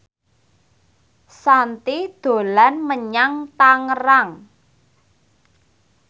Shanti dolan menyang Tangerang